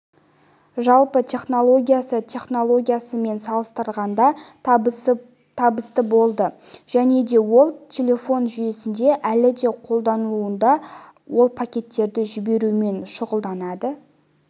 жалпы технологиясы технологиясымен салыстырғанда табысты болды және де ол телефон жүйесінде әлі де қолданылуда ол пакеттерді жіберумен шұғылданады